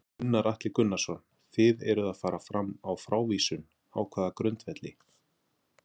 Gunnar Atli Gunnarsson: Þið eruð að fara fram á frávísun, á hvaða grundvelli?